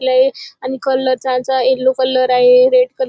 लई आणि कलर त्यांचा येल्लो कलर आहे रेड कलर --